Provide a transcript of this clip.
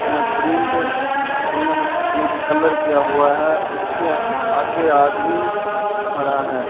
अह print यानि कि colour किया हुआ है उसके आगे आदमी खड़ा है।